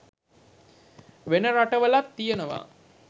වෙන රට වලත් තියනවා.